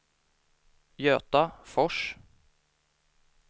Göta Fors